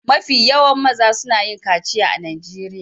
Mafi yawan mazan suna yin kaciya a Najeriya.